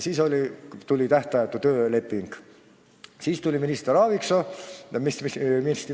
Siis tuli minister Aaviksoo.